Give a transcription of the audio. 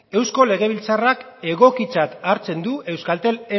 eusko legebiltzarra egokitzat hartzen du euskaltel